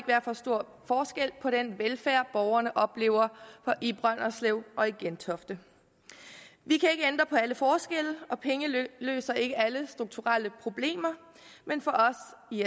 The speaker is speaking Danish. være for stor forskel på den velfærd borgerne oplever i brønderslev og i gentofte vi kan ikke ændre på alle forskelle og penge løser ikke alle strukturelle problemer men for